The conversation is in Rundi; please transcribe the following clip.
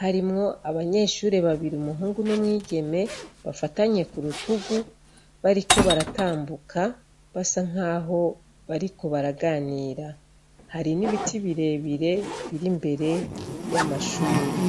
harimwo abanyeshure babiri umuhungu n'umwigeme bafatanye ku rutugu bariko baratambuka basa nkaho bariko baraganira. Hari nibiti birebire biri imbere y'amashure.